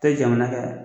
Tɛ jamana ka